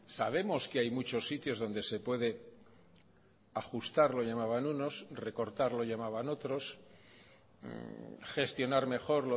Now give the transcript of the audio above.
sabemos que hay muchos sitios donde se puede ajustar lo llamaban unos recortar lo llamaban otros gestionar mejor